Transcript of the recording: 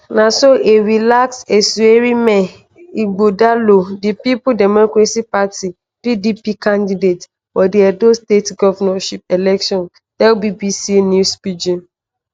na so a relaxed asuerinme ighodalo di peoples democratic party pdp candidate for di edo state govnorship election tell bbc news pidgin.